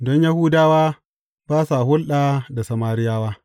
Don Yahudawa ba sa hulɗa da Samariyawa.